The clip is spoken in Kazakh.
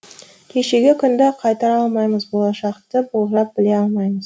кешегі күнді қайтара алмаймыз болашақты болжап біле алмаймыз